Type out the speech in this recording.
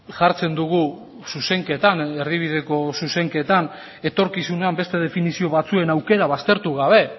jartzen dugu zuzenketan erdibideko zuzenketan etorkizunean beste definizio batzuen aukera baztertu gabe